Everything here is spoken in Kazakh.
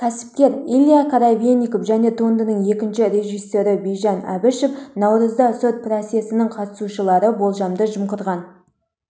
кәсіпкер илья коробейников және туындының екінші режиссері бижан әбішев наурызда сот процесінің қатысушылары болжамды жымқырылған